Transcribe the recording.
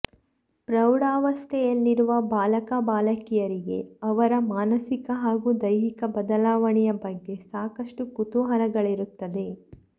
ಪ್ರೌಢಾವಸ್ತೆಯಲ್ಲಿರುವ ಬಾಲಕ ಬಾಲಕಿಯರಿಗೆ ಅವರ ಮಾನಸಿಕ ಹಾಗೂ ದೈಹಿಕ ಬದಲಾವಣೆಯ ಬಗ್ಗೆ ಸಾಕಷ್ಟು ಕುತೂಹಲಗಳಿರುತ್ತದೆ